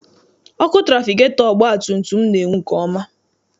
Ọkụ trafigetọ ọgbatumtum m na-enwu nke ọma.